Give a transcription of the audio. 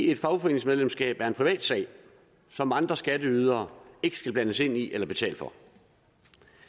et fagforeningsmedlemskab er en privatsag som andre skatteydere ikke skal blandes ind i eller betale for